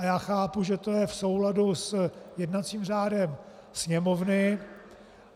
A já chápu, že to je v souladu s jednacím řádem Sněmovny.